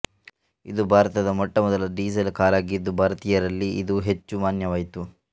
ಇದು ಭಾರತದ ಮೊಟ್ಟ ಮೊದಲ ಡೀಸಲ್ ಕಾರಾಗಿದ್ದು ಭಾರತೀಯರಲ್ಲಿ ಇದು ಹೆಚ್ಚು ಮಾನ್ಯವಾಯಿತು